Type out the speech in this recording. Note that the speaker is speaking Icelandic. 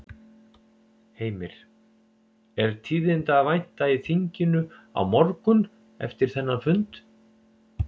Heimir: Er tíðinda að vænta í þinginu á morgun eftir þennan fund?